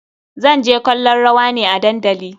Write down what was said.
Zan je kallon rawa ne a dandali.